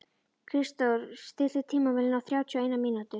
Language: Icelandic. Kristrós, stilltu tímamælinn á þrjátíu og eina mínútur.